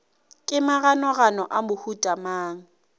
ke maganogano a mohuta mang